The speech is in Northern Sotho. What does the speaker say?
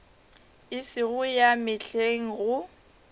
e sego ya mehleng go